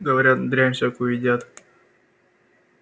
говорят дрянь всякую едят